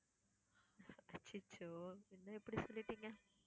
அச்சச்சோ! என்ன இப்படி சொல்லிட்டீங்க?